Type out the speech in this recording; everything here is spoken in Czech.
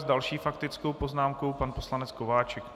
S další faktickou poznámkou - pan poslanec Kováčik.